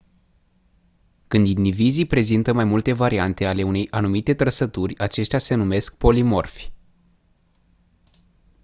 când indivizii prezintă mai multe variante ale unei anumite trăsături aceștia se numesc polimorfi